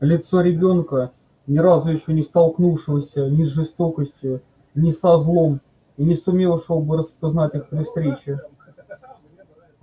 лицо ребёнка ни разу ещё не столкнувшегося ни с жестокостью ни со злом и не сумевшего бы распознать их при встрече